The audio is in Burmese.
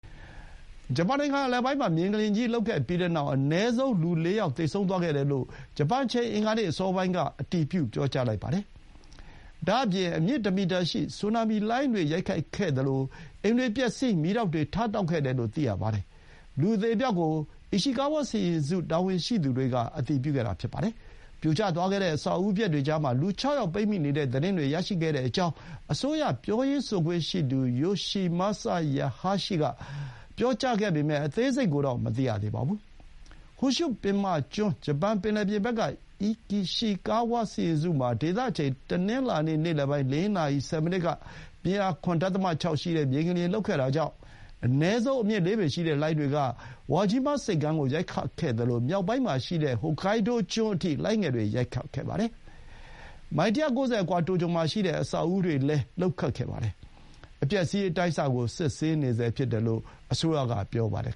ဂျပန်နိုင်ငံအလယ်ပိုင်းမှာ မြေငလျင်ကြီး လှုပ်ခဲ့ပြီးတဲ့နောက် အနည်းဆုံး လူ ၄ ယောက် သေဆုံးခဲ့တယ်လို့ ဂျပန်အချိန် အင်္ဂါနေ့အစောပိုင်းက အတည်ပြုလိုက်ပါတယ်။ ဒါ့အပြင် အမြင့်တမီတာရှိတဲ့ ဆူနာမီလှိုင်းတွေ ရိုက်ခတ်ခဲ့သလို အိမ်တွေပျက်စီး မီးတောက်တွေ ထတောက်ခဲ့တယ်လို့ သိရပါတယ်။ လူအသေအပျောက်ကို အီရှီကားဝါးစီရင်စု တာဝန်ရှိသူတွေက အတည်ပြုခဲ့တာပါ။ ပြိုကျသွားတဲ့ အဆောက်အဦပျက်တွေကြားမှာ လူ ၆ ယောက် ပိတ်မိနေတဲ့သတင်းတွေ ရရှိခဲ့ကြောင်း အစိုးရပြောရေးဆိုခွင့်ရှိသူ ယိုရှီမာဆာ ဟာယာရှီက (Yoshimasa Hayashi) ပြောပေမဲ့ အသေးစိတ်ကိုတော့ မသိရသေးပါဘူး။ ဟွန်ရှု ပင်မကျွန်း ဂျပန်ပင်လယ်ပြင်ဘက်က အီရှီကာဝါးစီရင်စုမှာ ဒေသအချိန် တနင်္လာနေ့ နေ့လယ်ပိုင်း ၄ နာရီ ဆယ်မိနစ်က ပြင်းအား ၇.၆ ရှိတဲ့ မြေငလျင်လှုပ်ခဲ့တာကြောင့် အနည်းဆုံး အမြင့် ၄ ပေရှိတဲ့ လှိုင်းတွေက ဝါဂျီးမားဆိပ်ကမ်းကို ရိုက်ခတ်ခဲ့သလို မြောက်ပိုင်းမှာရှိတဲ့ ဟိုကိုင်းဒိုးကျွန်း Hokkaido အထိ လှိုင်းငယ်တွေ ရိုက်ခတ်ခဲ့ပါတယ်။ မိုင် ၁၉၀ အကွာ တိုကျိုမှာရှိတဲ့ အဆောက်အဦတွေလည်း လှုပ်ခတ်ခဲ့ပါတယ်။ အပျက်အစီး အတိုင်းအဆ ကို စစ်ဆေးနေဆဲဖြစ်တယ်လို့ အစိုးရက ပြောပါတယ်